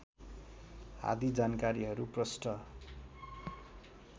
आदि जानकारीहरू प्रष्ट